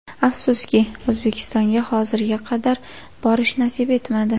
Afsuski, O‘zbekistonga hozirga qadar borish nasib etmadi.